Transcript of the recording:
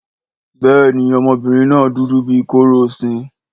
Béèni ọmọbìnrin náà dúdú bíí kórósin